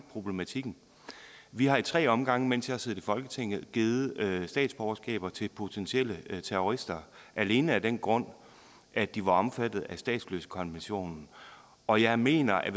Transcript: problematikken vi har ad tre omgange mens jeg har siddet i folketinget givet statsborgerskaber til potentielle terrorister alene af den grund at de var omfattet af statsløsekonventionen og jeg mener at